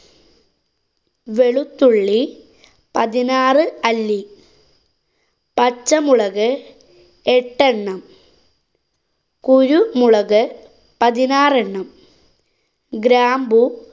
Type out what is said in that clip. വെളുത്തുള്ളി പതിനാറ് അല്ലി. പച്ചമുളക് എട്ട് എണ്ണം. കുരു മുളക് പതിനാറെണ്ണം ഗ്രാമ്പു